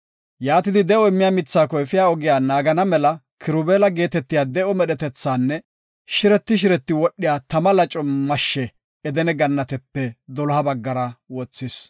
Yaatidi, de7o immiya mithaako efiya ogiya naagana mela Kirubeela geetetiya de7o medhetethatanne shireti shireti wodhiya tama laco mashshe Edene Gannatepe doloha baggara wothis.